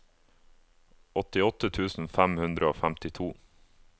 åttiåtte tusen fem hundre og femtito